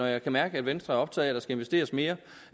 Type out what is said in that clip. jeg kan mærke at venstre er optaget af skal investeres mere